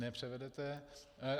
Nepřevedete.